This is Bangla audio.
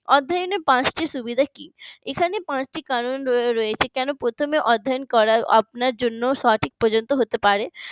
অধ্যায়নের পাঁচটি সুবিধা কি এখানে পাঁচটি কারণ রয়েছে প্রথমে অধ্যায়ন করা করানোর জন্য সঠিক পর্যন্ত হতে পারে